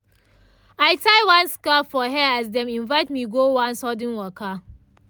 i tie scarf for hair as dem invite me go one sudden waka.